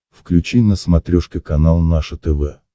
включи на смотрешке канал наше тв